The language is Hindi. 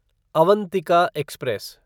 अवंतिका एक्सप्रेस